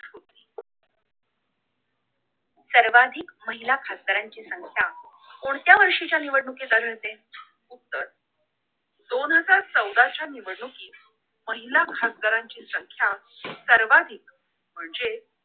सर्वाधिक महिला खादारांची संख्या कोणत्या वर्षीच्या निवडणुकीत आढळते तर दोन हजार चौदाच्या निवडणुकीत महिला खासदाराची संख्या सर्वाधिक म्हणजे